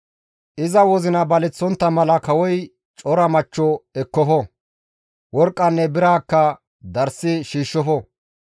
Iza wozina baleththontta mala kawoy cora machcho ekkofo; worqqanne biraakka darssi shiishshofo.